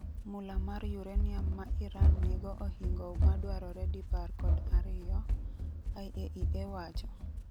mula mar uranium ma Iran nigo ohingo madwarore dipar kod ariyo, IAEA wacho